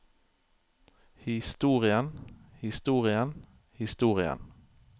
historien historien historien